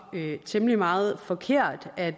temmelig meget forkert at